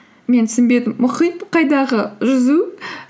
мен түсінбедім мұхит қайдағы жүзу